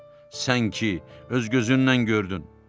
Sən ki, öz gözünlə gördün.